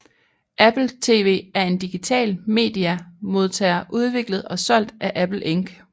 Apple TV er en digital media modtager udviklet og solgt af Apple Inc